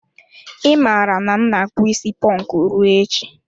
I mara na m na akpu isi ponku ruo echi.